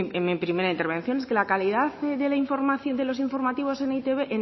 en mi primera intervención es que la calidad de la información en los informativos en e i te be